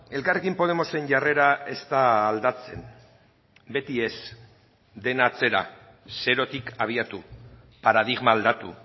elkarrekin podemosen jarrera ez da aldatzen beti ez dena atzera zerotik abiatu paradigma aldatu